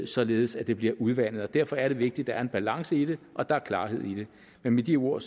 således at det bliver udvandet og derfor er det vigtigt at der er en balance i det og at der er klarhed i det med de ord